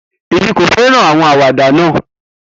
Emi ko fẹran awọn awada naa.